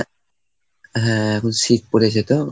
হ্যাঁ এখন শীত পড়েছে তো।